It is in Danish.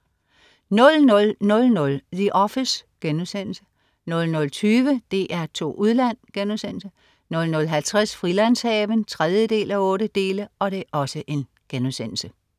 00.00 The Office* 00.20 DR2 Udland* 00.50 Frilandshaven 3:8*